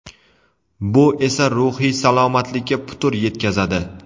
Bu esa ruhiy salomatlikka putur yetkazadi.